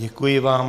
Děkuji vám.